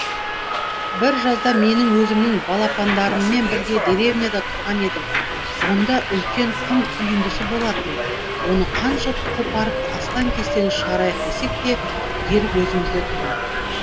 бір жазда мен өзімнің балапандарыммен бірге деревняда тұрған едім онда үлкен құм үйіндісі болатын оны қанша қопарып астан кестенін шығарайық десек те ерік өзімізде тұғын